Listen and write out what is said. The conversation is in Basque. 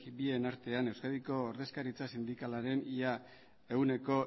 bien artean euskadiko ordezkaritza sindikalaren ia ehuneko